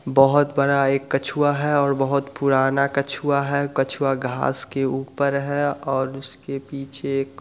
बहुत बड़ा एक कछुआ है बहुत पुराना कछुआ है कछुआ घास के ऊपर है और उसके पीछे एक --